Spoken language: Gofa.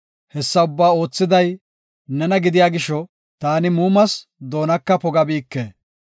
Hessa ubbaa oothiday nena gidiya gisho taani muumas; doonaka pogabike.